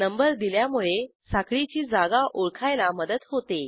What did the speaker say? number दिल्यामुळे साखळीची जागा ओळखायला मदत होते